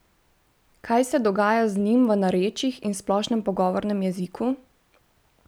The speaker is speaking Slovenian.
Kaj se dogaja z njim v narečjih in splošnem pogovornem jeziku?